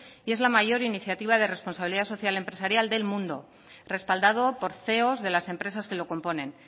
y es la mayor iniciativa de responsabilidad social empresarial del mundo respaldado por ceos de las empresas que lo componen